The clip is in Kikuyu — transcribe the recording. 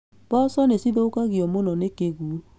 Mboco nĩcithukagio mũno nĩ kĩguũ